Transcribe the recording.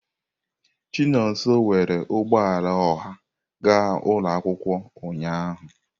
Chinonso were ụgbọ ala ọha ga ụlọ akwụkwọ ụnyahụ.